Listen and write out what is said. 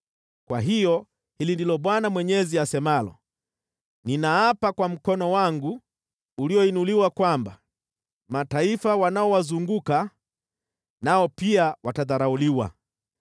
Kwa hiyo hili ndilo Bwana Mwenyezi asemalo: Ninaapa kwa mkono wangu ulioinuliwa kwamba mataifa wanaowazunguka nao pia watadharauliwa.